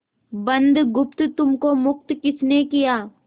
बुधगुप्त तुमको मुक्त किसने किया